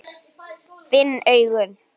Finn augun.